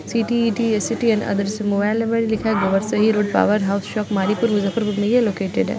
CTET SET and अदृष mobile number भी लिखा हैं Gobarsahi road power house shop Maripur Muzaffarpur में ये लोकेटेड हैं।